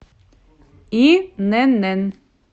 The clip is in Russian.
инн